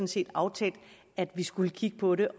set aftalt at vi skulle kigge på det